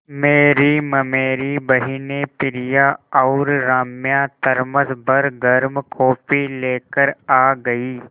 मेरी ममेरी बहिनें प्रिया और राम्या थरमस भर गर्म कॉफ़ी लेकर आ गईं